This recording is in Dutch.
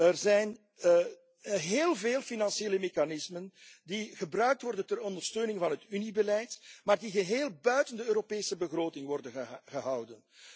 Er zijn heel veel financiële mechanismen die gebruikt worden ter ondersteuning van het Uniebeleid, maar die geheel buiten de Europese begroting worden gehouden.